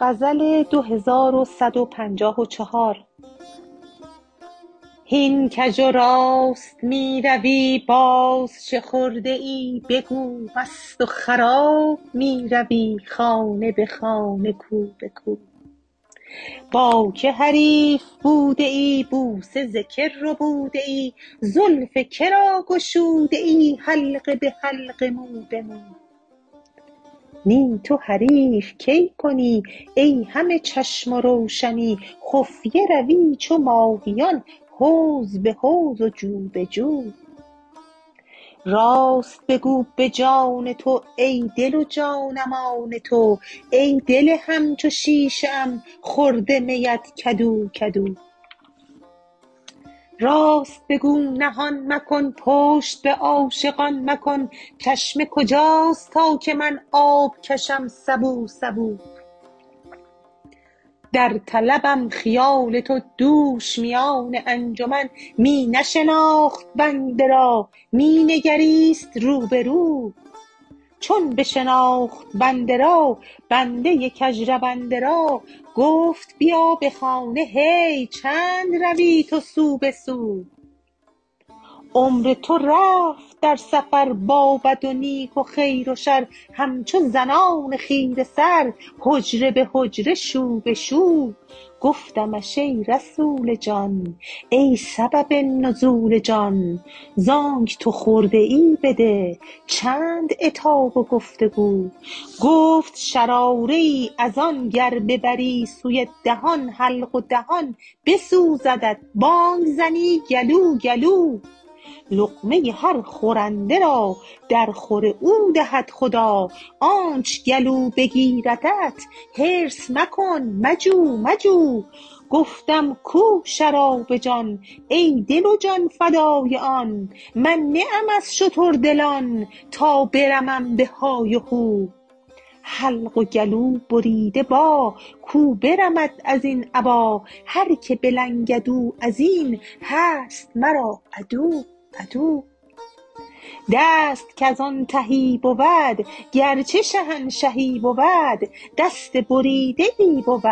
هین کژ و راست می روی باز چه خورده ای بگو مست و خراب می روی خانه به خانه کو به کو با کی حریف بوده ای بوسه ز کی ربوده ای زلف که را گشوده ای حلقه به حلقه مو به مو نی تو حریف کی کنی ای همه چشم و روشنی خفیه روی چو ماهیان حوض به حوض جو به جو راست بگو به جان تو ای دل و جانم آن تو ای دل همچو شیشه ام خورده میت کدو کدو راست بگو نهان مکن پشت به عاشقان مکن چشمه کجاست تا که من آب کشم سبو سبو در طلبم خیال تو دوش میان انجمن می نشناخت بنده را می نگریست رو به رو چون بشناخت بنده را بنده کژرونده را گفت بیا به خانه هی چند روی تو سو به سو عمر تو رفت در سفر با بد و نیک و خیر و شر همچو زنان خیره سر حجره به حجره شو به شو گفتمش ای رسول جان ای سبب نزول جان ز آنک تو خورده ای بده چند عتاب و گفت و گو گفت شراره ای از آن گر ببری سوی دهان حلق و دهان بسوزدت بانگ زنی گلو گلو لقمه هر خورنده را درخور او دهد خدا آنچ گلو بگیردت حرص مکن مجو مجو گفتم کو شراب جان ای دل و جان فدای آن من نه ام از شتردلان تا برمم به های و هو حلق و گلوبریده با کو برمد از این ابا هر کی بلنگد او از این هست مرا عدو عدو دست کز آن تهی بود گرچه شهنشهی بود دست بریده ای بود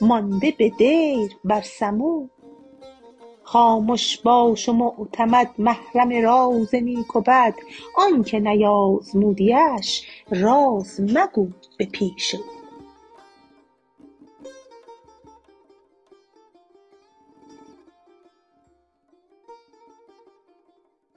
مانده به دیر بر سمو خامش باش و معتمد محرم راز نیک و بد آنک نیازمودیش راز مگو به پیش او